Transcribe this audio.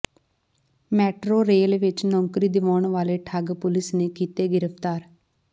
metro rail ਵਿਚ ਨੌਕਰੀ ਦਿਵਾਉਣ ਵਾਲੇ ਠੱਗ ਪੁਲਿਸ ਨੇ ਕੀਤੇ ਗਿ੍ਫ਼ਤਾਰ